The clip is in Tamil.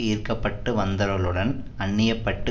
ஈர்க்கப்பட்டு வந்தவர்களுடன் அந்நியப்பட்டு